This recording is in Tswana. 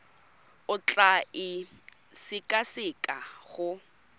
o tla e sekaseka go